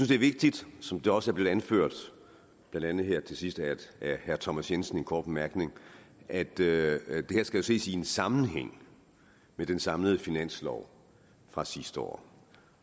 det er vigtigt som det også er blevet anført blandt andet her til sidst af herre thomas jensen i en kort bemærkning at det her jo skal ses i sammenhæng med den samlede finanslov fra sidste år